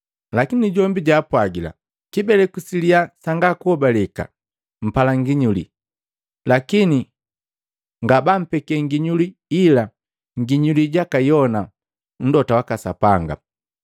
Lakini jombi jaapwagila, “Kibeleku siliya sanga kuhobaleka! Mpala nginyuli, lakini ngabampeke nginyuli ila nginyuli jaka Yona Mlota waka Sapanga.